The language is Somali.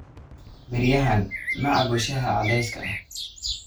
beryahan ma cabbo shaaha cadayska ah.